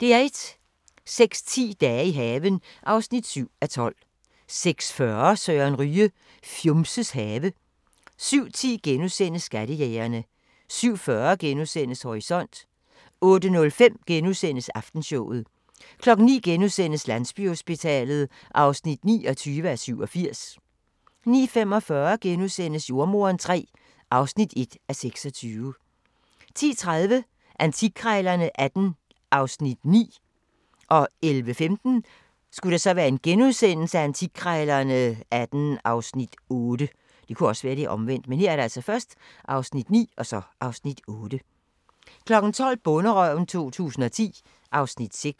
06:10: Dage i haven (7:12) 06:40: Søren Ryge: Fjumses have 07:10: Skattejægerne * 07:40: Horisont * 08:05: Aftenshowet * 09:00: Landsbyhospitalet (29:87)* 09:45: Jordemoderen III (1:26)* 10:30: Antikkrejlerne XVIII (Afs. 9) 11:15: Antikkrejlerne XVIII (Afs. 8)* 12:00: Bonderøven 2010 (Afs. 6)